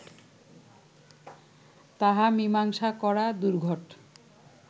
তাহা মীমাংসা করা দুর্ঘট